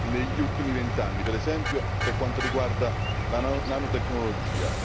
degli ultimi vent'anni, per esempio per quanto riguarda la nanotecnologia.